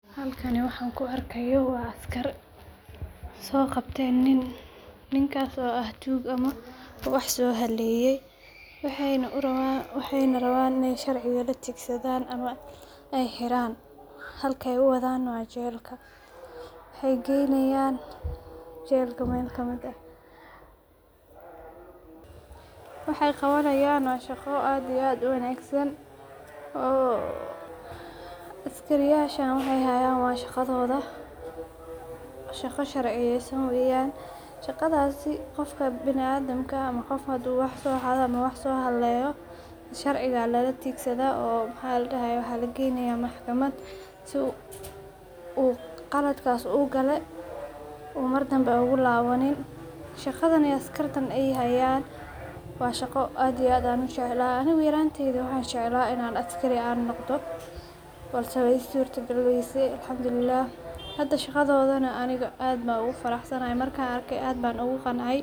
Halkan waxan kuu arkayo waa askar so qabten nin ninkaas oo aah tug ama wax soo haleyee waxayna rawan iney sharciga laa tigsadan ama ey xiraan halka ey uwadan na wa jelka waxey geynayan jelka mel kamiid ahwaxey qawanayan wa shaqo aad iyo aad uu wanagsan oo askariyashan waxey hayan waa shaqadoda shaqa sharciyeysan weyan shaqadasii qofka biniadamka ama qof haduu wax soo xado ama wax so haleyoo sharcigaa lalatigsada oo mxa laa dahaye waxa la geynaya maxkamad sii uu qaladkas uu gale uu mardambe ogu lawaniin shaqadan ey askarta ey hayan wa shaqo aad iyo aad aan ujecla anigu yaranteydhi waxan jecla inan askari aan noqdo balse wey ii surta galii weyse alxamdullilah hada shaqadodan aniga aad ban ogu faraxsanahay markan arkay aad ban ogu qancay.